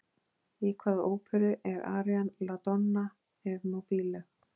Í hvaða óperu er arían La Donna e mobile?